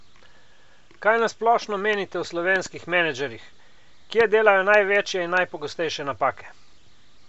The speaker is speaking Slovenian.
Kaj na splošno menite o slovenskih menedžerjih, kje delajo največje in najpogostejše napake?